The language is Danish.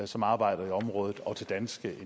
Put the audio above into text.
som arbejder i området og til danske